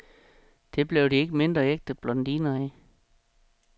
Det blev de ikke mindre ægte blondiner af.